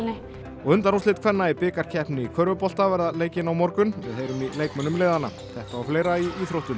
og undanúrslit kvenna í bikarkeppninni í körfubolta verða leikin á morgun við heyrum í leikmönnum liðanna þetta og fleira í íþróttum